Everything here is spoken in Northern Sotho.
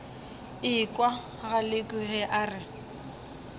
ekwa galekwe ge a re